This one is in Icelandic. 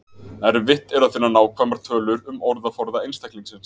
Erfitt er að finna nákvæmar tölur um orðaforða einstaklingsins.